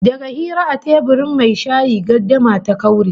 Daga hira a teburin mai shayi gardama ta kaure